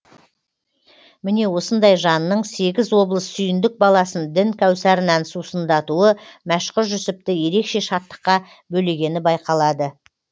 міне осындай жанның сегіз облыс сүйіндік баласын дін кәусарынан сусындатуы мәшһүр жүсіпті ерекше шаттыққа бөлегені байқалады